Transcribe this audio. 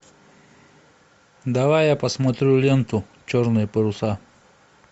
давай я посмотрю ленту черные паруса